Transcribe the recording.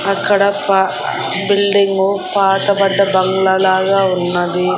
అక్కడ ప బిల్డింగు పాతబడ్డ బంగ్లా లాగా ఉన్నది.